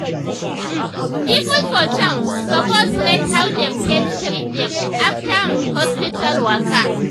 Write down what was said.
um people for town suppose rate how dem take treat dem after um hospital waka.